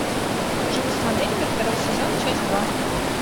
живу с моделями второй сезон часть два